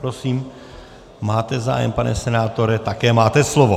Prosím, máte zájem, pane senátore, také máte slovo.